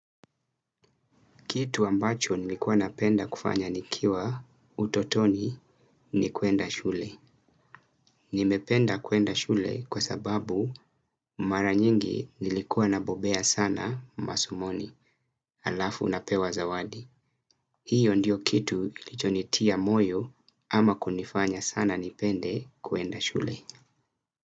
Kitu ambacho nilikuwa napenda kufanya nikiwa utotoni ni kwenda shule. Nimependa kwenda shule kwa sababu mara nyingi nilikuwa nabobea sana masomoni, alafu napewa zawadi. Hiyo ndiyo kitu ilichonitia moyo ama kunifanya sana nipende kwenda shule.